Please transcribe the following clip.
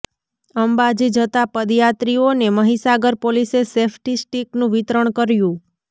અંબાજી જતા પદયાત્રીઓને મહીસાગર પોલીસે સેફ્ટી સ્ટીકનુ વિતરણ કર્યુ